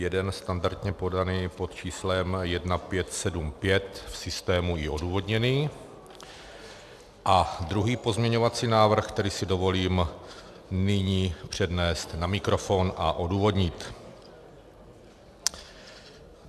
Jeden standardně podaný pod číslem 1575, v systému i odůvodněný, a druhý pozměňovací návrh, který si dovolím nyní přednést na mikrofon a odůvodnit.